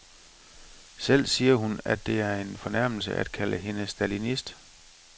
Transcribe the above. Selv siger hun, at det er en fornærmelse at kalde hende stalinist.